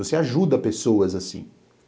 Você ajuda pessoas assim.